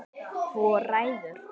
Hvor ræður?